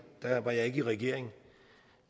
at da var jeg ikke i regering